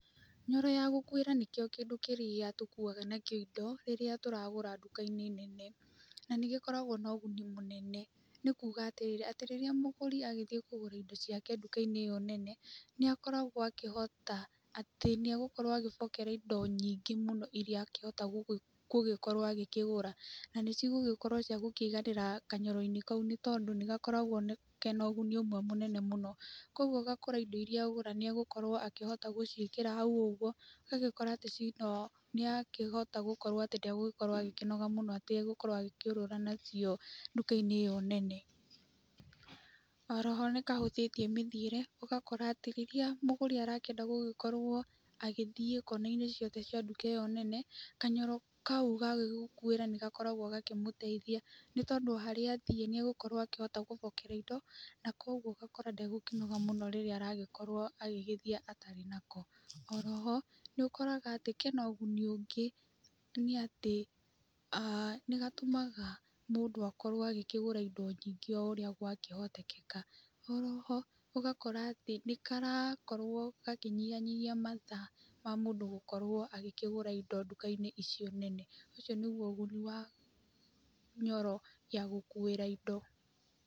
Nyoro ya gũkuĩra nĩkĩo kĩndũ kĩrĩa tũkuuaga nakĩo indo rĩrĩa tũragũra indo nduka-inĩ nene. Na nĩ gĩkoragwo na ũguni mũnene, nĩ kuuga atĩrĩrĩ atĩ rĩrĩa mũgũri agĩthiĩ kũgũra indo ciake nduka-inĩ ĩyo nene, nĩ akoragwo akĩhota atĩ nĩ egũbokera indo nyingĩ mũno irĩa akĩhota gũgikorwo agĩkigũra. Na nĩcigũkĩhota kũiganĩra kanyoro-inĩ kau nĩ tondũ nĩ gakoragwo kena ũguni ũkũiganĩramwe mũnene mũno. Koguo ũgakora indo irĩa agũra nĩ egũkorwo akĩhota gũciĩkĩra hau ũguo. Ũgagĩkora atĩ [inaudiblenĩ akĩhota gũkorwo atĩ ndegũgĩkorwo agĩkĩnoga mũno atĩ gũkorwo agĩkĩũrũra nacio nduka-inĩ ĩyo nene. Oro ho nĩ kahũthĩtie mĩthiĩre, ũgakora atĩ rĩrĩa mũgũri arakĩenda gũgĩkorwo agĩthiĩ kona-inĩ ciothe cia nduka ĩyo nene, kanyoro kau ga gũgĩkuĩra nĩ gakoragwo nĩ gakoragwo gakĩmũteithia. Nĩ tondũ harĩa athiĩ nĩ egũkorwo akĩhota gũbokera indo na koguo ũgakora ndegũkĩnoga mũno rĩrĩa aragĩkorwo agĩgĩthiĩ atarĩ nako. Oro ho nĩ ũkoraga atĩ kena ũguni ũngĩ nĩ atĩ nĩ aa gatũmaga mũndũ akorwo agĩkĩgũra indo nyingĩ o ũrĩa gwakĩhotekeka. Oro ho ũgakora atĩ nĩ karakorwo gakĩnyihanyihia mathaa ma mũndũ agĩkĩgũra indo nduka-inĩ icio nene. Ũcio nĩguo ũguni wa nyoro ya gũkuĩra indo.